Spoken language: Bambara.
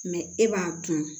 e b'a kun